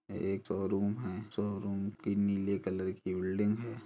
यह एक शोरूम है शोरूम की नीले कलर की बिल्डिंग है।